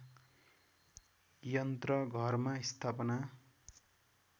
यन्त्र घरमा स्थापना